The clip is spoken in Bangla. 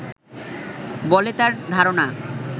বলে তার ধারণা